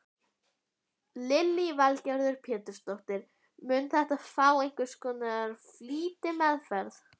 Lillý Valgerður Pétursdóttir: Mun þetta fá einhvers konar flýtimeðferð?